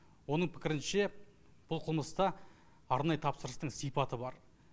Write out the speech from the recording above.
оның пікірінше бұл қылмыста арнайы тапсырыстың сипаты бар